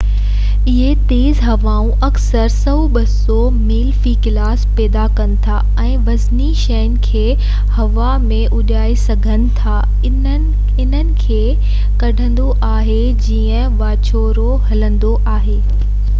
اهي تيز هوائون اڪثر 100-200 ميل في ڪلاڪ پيدا ڪن ٿا ۽ وزني شين کي هوا ۾ اڏائي سگهن ٿا، انهن کي کڻندو آهي جيئن واچوڙو هلندو آهي